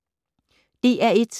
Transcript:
DR1